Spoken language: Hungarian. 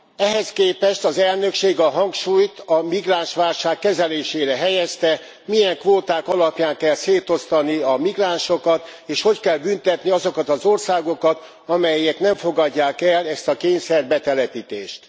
Ehhez képest az elnökség a hangsúlyt a migránsválság kezelésére helyezte, milyen kvóták alapján kell szétosztani a migránsokat, és hogy kell büntetni azokat az országokat, amelyek nem fogadják el ezt a kényszerbetelepítést.